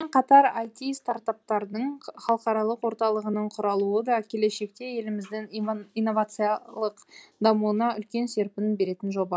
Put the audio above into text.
қатар айти стартаптардың халықаралық орталығының құралуы да келешекте еліміздің инновациялық дамуына үлкен серпін беретін жоба